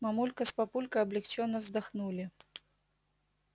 мамулька с папулькой облегчённо вздохнули